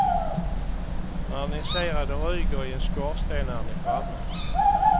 När ni ser att det ryker i en skorsten är ni framme.